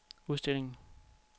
udstillingen